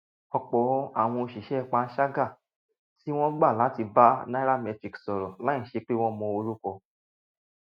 òpò àwọn òṣìṣé panṣágà tí wón gbà láti bá nairametrics sòrò láìsí pé wón mọ orúkọ